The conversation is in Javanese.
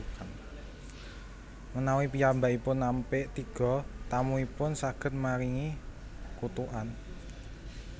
Menawi piyambakipun nampik tiga tamuipun saged maringi kutukan